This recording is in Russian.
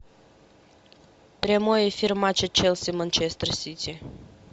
прямой эфир матча челси манчестер сити